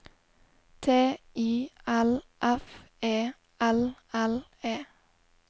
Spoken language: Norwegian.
T I L F E L L E